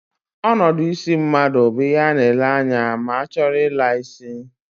Onodu isi mmadu bu ihe a na-ele anya ma a choro I la isi.